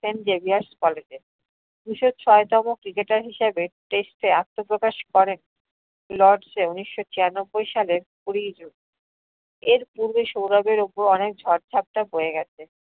Saint Xavier's college এ। দুশো ছয় তম cricketer হিসাবে test এ আত্মপ্রকাশ করেন lords এ উনিশশো ছিয়ানব্বই সালের কুড়ি june । এর পূরবে সৌরভের ওপর অনেক ঝোড় ঝাপটা বয়ে গেছে ।